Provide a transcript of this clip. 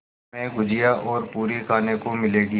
हमें गुझिया और पूरी खाने को मिलेंगी